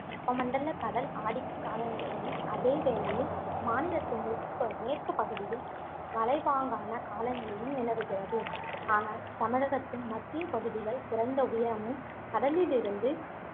வெப்பமண்டலக் கடல் ஆதிக்க காலநிலையும் அதேவேளையில் மாநிலத்தின் மெற்கு~ மேற்குப் பகுதியில் மலைப்பாங்கான காலநிலையும் நிலவுகிறது ஆனால் தமிழகத்தின் மத்திய பகுதிகள் குறைந்த உயரமும் கடலிலிருந்து